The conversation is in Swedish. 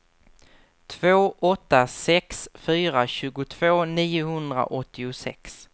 två åtta sex fyra tjugotvå niohundraåttiosex